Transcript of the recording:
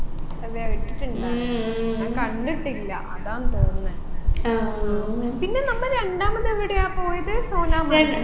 അതെ ഇട്ടിട്ടുണ്ട ഞാൻ കണ്ടിട്ടില്ല അതാന്ന് തോന്നുന്നെ പിന്നെ നമ്മ രണ്ടാമത് എവിടെയാ പോയത് സോനാമാർഗി